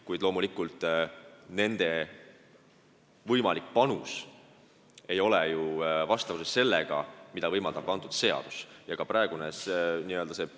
Kuid loomulikult, nende võimalik panus ei ole ju vastavuses sellega, mida see seadus võimaldab.